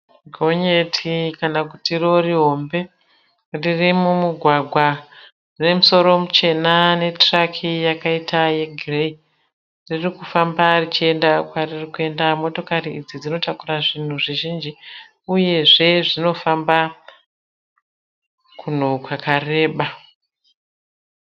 Gonyeti kana kuti rori hombe. Riri mumugwagwa. Rine musoro muchena netruck yakaita yegirei. Ririkufamba richienda kwaririkuenda. Motokari idzi dzinotakura zvinhu zvizhinji uyezve zvinofamba kunhu kwakareba.